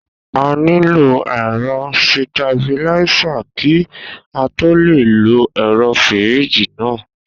A nílò ẹ̀rọ sitabiláísà kí á tó le lo ẹ̀rọ fíríjì náà